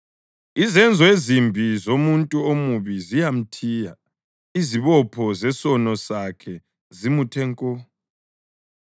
Izenzo ezimbi zomuntu omubi ziyamthiya; izibopho zesono sakhe zimuthe nko.